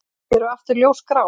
Þau eru aftur ljósgrá.